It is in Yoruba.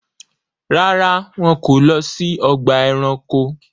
Ràrá, wọn ko lọ si ọgba ẹranko